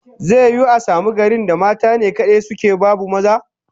Zai yiwu a samu garin da mata ne kadai suke, babu maza?